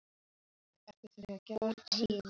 Útsýnið var enn lítið.